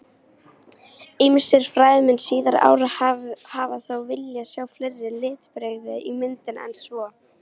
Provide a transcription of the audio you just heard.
Ýmsir fræðimenn síðari ára hafa þó viljað sjá fleiri litbrigði í myndinni en svo.